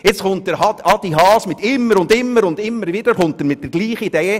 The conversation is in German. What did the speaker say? Nun kommt Grossrat Haas immer und immer wieder mit derselben Idee.